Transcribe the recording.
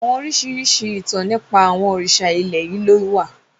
Àwọn oríṣiríṣi ìtàn nípa àwọn òrìṣà ilẹ̀ yìí ló wà